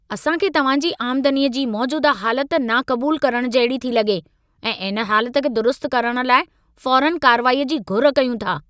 असां खे तव्हां जी आमदनीअ जी मौजूदह हालति नाक़बूल करणु जहिड़ी थी लॻे ऐं इन हालति खे दुरुस्तु करणु लाइ फ़ौरनि कार्रवाईअ जी घुर कयूं था।